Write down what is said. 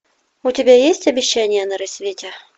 у тебя есть обещание на рассвете